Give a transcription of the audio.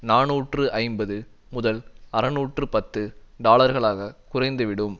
நாநூற்று ஐம்பது முதல் அறுநூற்று பத்து டாலர்களாக குறைந்து விடும்